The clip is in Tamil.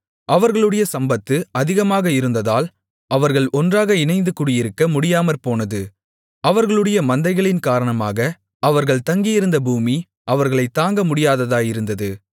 அவர்களுடைய சம்பத்து அதிகமாக இருந்ததால் அவர்கள் ஒன்றாக இணைந்து குடியிருக்க முடியாமற்போனது அவர்களுடைய மந்தைகளின் காரணமாக அவர்கள் தங்கியிருந்த பூமி அவர்களைத் தாங்க முடியாததாயிருந்தது